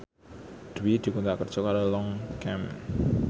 Dwi dikontrak kerja karo Longchamp